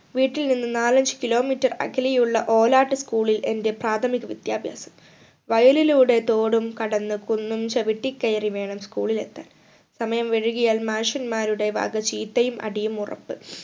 വീട്ടിൽ നിന്നും നാലഞ്ചു kilometer അകലെയുള്ള ഓലാട്ട് school ൽ എന്റെ പ്രാഥമിക വിദ്യാഭ്യാസം വയലിലൂടെ തോടും കടന്ന് കുന്നും ചവിട്ടി കയറി വേണം school ൽ എത്താൻ സമയം വൈകിയാൽ മാഷന്മാരുടെ വക ചീത്തയും അടിയും ഉറപ്പ്